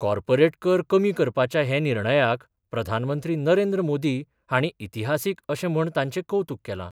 Corporate कर कमी करपाच्या हे निर्णयाक प्रधानमंत्री नरेंद्र मोदी हाणी इतिहासिक अशे म्हण तांचे कौतुक केला.